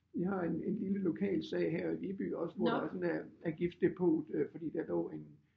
I har en en lille lokal sag her i by også hvor der sådan er er gipsdepot øh fordi der lå en